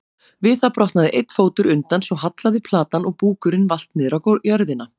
Við það brotnaði einn fótur undan svo hallaði platan og búkurinn valt niður á jörðina.